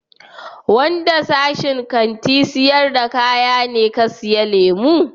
Wanda sashin Kantin sayar da kaya ne ka siya lemu?